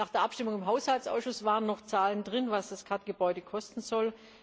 Nach der Abstimmung im Haushaltsausschuss waren noch Zahlen drin, was das KAD Gebäude kosten soll.